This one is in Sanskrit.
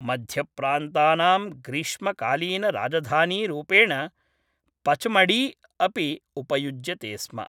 मध्यप्रान्तानां ग्रीष्मकालीनराजधानीरूपेण पचमढी अपि उपयुज्यते स्म।